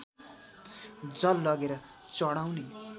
जल लगेर चढाउने